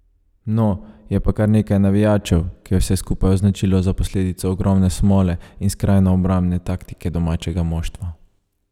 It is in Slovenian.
No, je pa kar nekaj navijačev, ki je vse skupaj označilo za posledico ogromne smole in skrajno obrambne taktike domačega moštva.